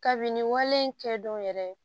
Kabini wale in kɛ don yɛrɛ